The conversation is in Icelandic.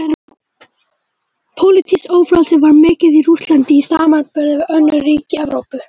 Pólitískt ófrelsi var mikið í Rússlandi í samanburði við önnur ríki Evrópu.